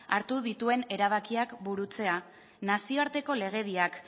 hartu dituen erabakiak burutzea nazioarteko legediak